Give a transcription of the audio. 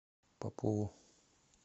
попову